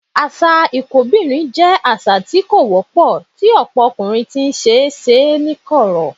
Àṣà ìkóbìnrijọ jẹ́ àṣà tí ó wọ́pọ̀, tí ọ̀pọ̀ ọkùnrin sì ń ṣe ní kọ̀rọ̀.